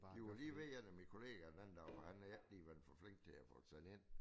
De var lige ved en af mine kollegaer den anden dag for han havde ikke lige været for flink tl at få det sendt ind